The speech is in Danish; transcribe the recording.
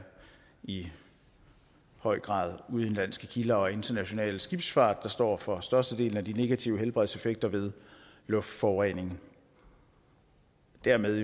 i høj grad udenlandske kilder og international skibsfart der står for størstedelen af de negative helbredseffekter ved luftforurening dermed